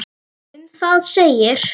Um það segir: